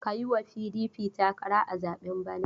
Ka yi wa PDP takara a zaben bana!